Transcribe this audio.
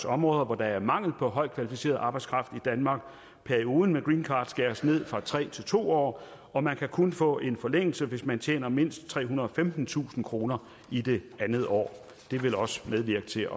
områder hvor der er mangel på højt kvalificeret arbejdskraft i danmark perioden med greencard skæres ned fra tre år til to år og man kan kun få en forlængelse hvis man tjener mindst trehundrede og femtentusind kroner i det andet år det vil også medvirke til